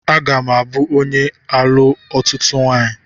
Aga m abụ onye ga alụ ọtụtụ nwanyi